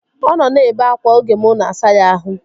Ọ nọ na-ebe akwa oge mụ na-asa ya ahụ